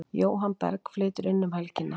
Jóhann Berg flytur inn um helgina.